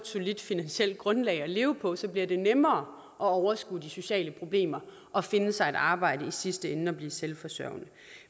solidt finansielt grundlag at leve på så bliver det nemmere at overskue de sociale problemer og finde sig et arbejde og i sidste ende blive selvforsørgende